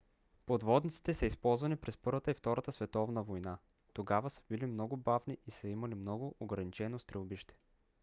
подводниците са използвани през първата и втората световна война. тогава са били много бавни и са имали много ограничено стрелбище